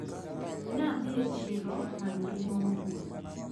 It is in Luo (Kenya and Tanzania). Ne adhi e chiro manyo ring`o mobul.